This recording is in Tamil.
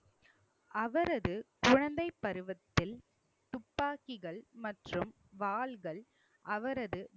அவரது குழந்தைப் பருவத்தில் துப்பாக்கிகள் மற்றும் வாள்கள் அவரது